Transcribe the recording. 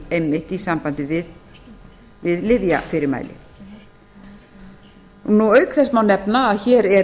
einmitt í sambandi við lyfjafyrirmæli auk þess má nefna að hér er